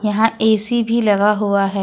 यहां ए_सी भी लगा हुआ है।